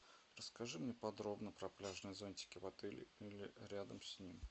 расскажи мне подробно про пляжные зонтики в отеле или рядом с ним